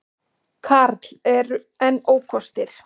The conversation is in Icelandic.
Karl: En ókostir?